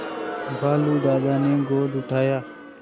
भालू दादा ने गोद उठाया